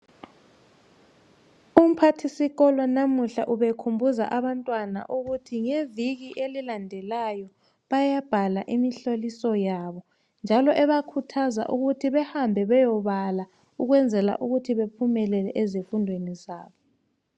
Umphathi sikolo namuhla ubekhumbuza abantwana ukuthi ngeviki elilandelayo bayabhala imihloliso yabo njalo ebakhuthaza ukuthi behambe beyebala ukwenzela ukuthi bephumelele ezifundweni zabo.